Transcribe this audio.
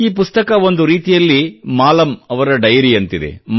ಈ ಪುಸ್ತಕ ಒಂದು ರೀತಿಯಲ್ಲಿ ಮಾಲಮ್ ಅವರ ಡೈರಿಯಂತಿದೆ